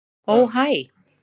Ó hæ.